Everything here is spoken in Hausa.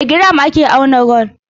Da giram ake auna gwal.